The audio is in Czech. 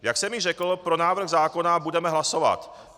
Jak jsem již řekl, pro návrh zákona budeme hlasovat.